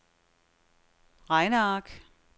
regneark